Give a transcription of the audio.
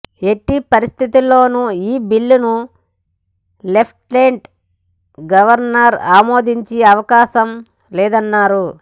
ఎట్టి పరిస్థితుల్లోనూ ఈ బిల్లును లెఫ్టినెంట్ గవర్నర్ ఆమోదించే అవకాశం లేదన్నారు